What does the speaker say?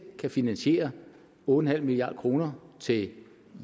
kan finansiere otte milliard kroner til